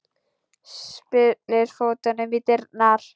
Spyrnir fótunum í dyrnar.